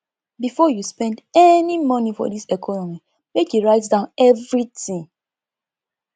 before you spend any moni for dis economy make you write down everytin